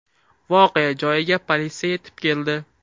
Voqea joyiga politsiya yetib keldi.